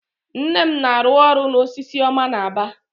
Nne m na-arụ ọrụ na Osisioma n'Aba.